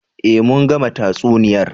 Eh mun gama tatsuniyar